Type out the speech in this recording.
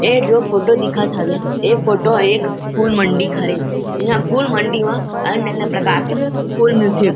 ये जो फोटो दिखत हवे ए फोटो एक फूल मंडी हरे यहाँ फूल मंडी म अन्य -अन्य प्रकार के फूल मिलथे ।